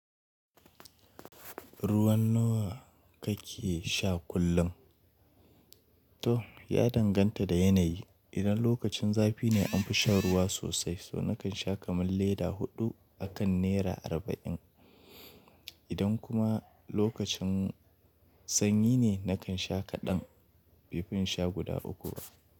Ruwan nawa kake sha kullum? To, ya danganta da yanayi. Idan lokacin zafi ne an fi sha ruwa sosai, so nakan sha kaman leda huɗu a kan nera arba'in. Idan kuma lokacin sanyi ne, nakan sha kaɗan, baifin insha guda uku bah.